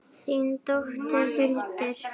Þín dóttir Hildur.